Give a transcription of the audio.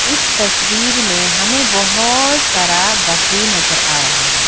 इस तस्वीर में हमें बहोत सारा बकरी नजर आ रहा है।